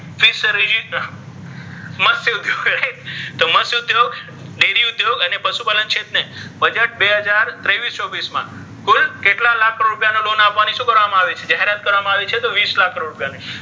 તો મત્સ્ય ઉધ્યોગ, ડેરી ઉધ્યોગ, અને પશુપાલન ક્ષેત્રે બજેટ બે હજાર ત્રેવીસ-ચોવીસ મા કુલ કેટ્લા લાખ કરોડ રુપિયા ની loan શુ કરવામા આવિ છે જાહેરાત કરવામા આવિ છે તો વિસ લાખ કરોડ રુપિયા,